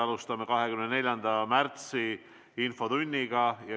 Alustame 24. märtsi infotundi.